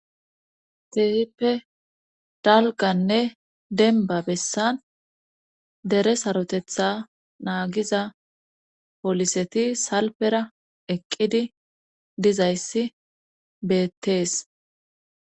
Ke'hippe dalganne denba bessan dere sarotetha naagiza poliseti salpera eqqidi dizayssi beettees